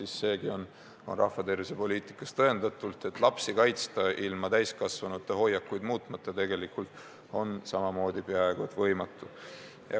Aga seegi on rahva tervise poliitikas tõendatud, et lapsi kaitsta ilma täiskasvanute hoiakuid muutmata on tegelikult peaaegu et võimatu.